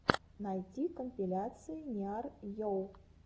найти компиляции ниар йу